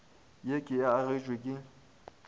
ye ke e agetšwe ke